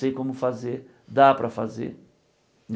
Sei como fazer, dá para fazer.